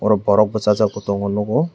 borok basajak bo tango nugo.